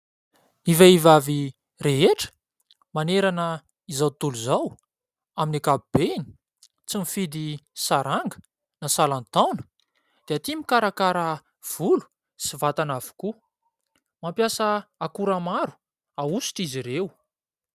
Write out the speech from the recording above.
ny vehivavy rehetra manerana izao tontolo izao amin'ny ankapobeny, tsy mifidy saranga na salan-taona dia tia mikarakara volo sy vatana avokoa , mampiasa akora maro ahosotra izy ireo